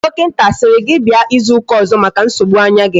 Dokinta asiri gi bia izu uka ozo maka nsogbu anya gi?